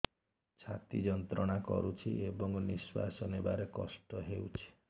ଛାତି ଯନ୍ତ୍ରଣା କରୁଛି ଏବଂ ନିଶ୍ୱାସ ନେବାରେ କଷ୍ଟ ହେଉଛି